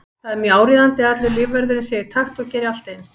Það er mjög áríðandi að allur lífvörðurinn sé í takt og geri allt eins.